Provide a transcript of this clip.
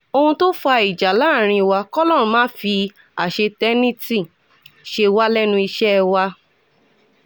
ohun tó fa ìjà láàrin wa kọ́lọ́run má fi àṣetánẹ́ẹ̀tì ṣe wá lẹ́nu iṣẹ́ wa